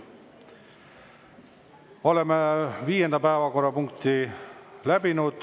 Oleme viienda päevakorrapunkti läbinud.